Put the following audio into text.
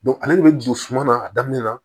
ale de bɛ jigin suma na a daminɛ na